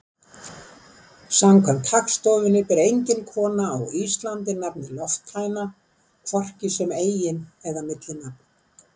Samkvæmt Hagstofunni ber engin kona á Íslandi nafnið Lofthæna, hvorki sem eigin- eða millinafn.